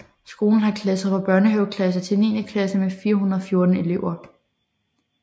Skolen har klasser fra børnehaveklasse til niende klasse med 414 elever